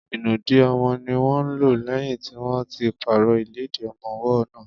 Ìnùdí ọmọ ní wọ́n lò lẹ́yìn tí wọ́n ti pàrọ̀ ìlẹ́dì ọmọwọ́ náà.